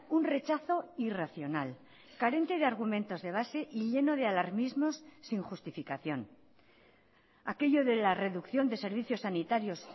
un rechazo irracional carente de argumentos de base y lleno de alarmismos sin justificación aquello de la reducción de servicios sanitarios